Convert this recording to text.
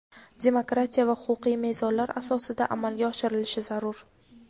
demokratiya va huquqiy mezonlar asosida amalga oshirilishi zarur.